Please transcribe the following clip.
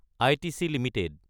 ITC Ltd